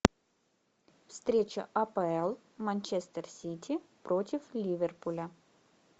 встреча апл манчестер сити против ливерпуля